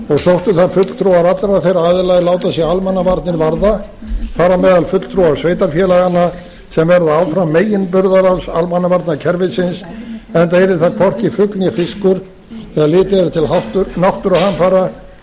sóttu það fulltrúar allra þeirra aðila er láta sig almannavarnir varða þar á meðal fulltrúar sveitarfélaganna sem verða áfram meginburðarás almannavarnakerfisins enda yrði það hvorki fugl né fiskur þegar litið